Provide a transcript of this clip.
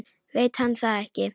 Veit hann það ekki?